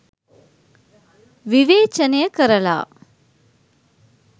විවේචනය කරලා